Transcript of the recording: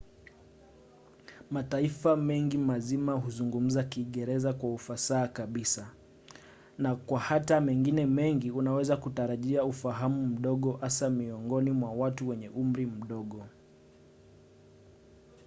mataifa mengi mazima huzungumza kiingereza kwa ufasaha kabisa na kwa hata mengine mengi unaweza kutarajia ufahamu mdogo - hasa miongoni mwa watu wenye umri mdogo